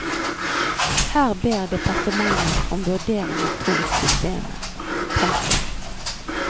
Her ber departementet om vurdering av to systemer. punktum